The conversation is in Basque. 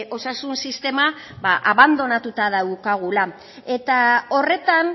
osasun sistema abandonatuta daukagula eta horretan